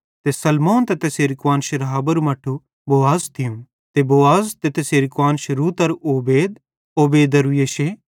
ते सलमोन ते तैसेरी कुआन्श राहाबेरू मट्ठू बोआज थियूं ते बोआज ते तैसेरी कुआन्श रूतरू ओबेद ओबेदेरू यिशै